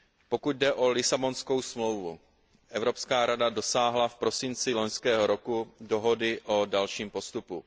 Pokud jde o Lisabonskou smlouvu, Evropská rada dosáhla v prosinci loňského roku dohody o dalším postupu.